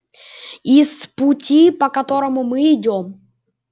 и с пути по которому мы идём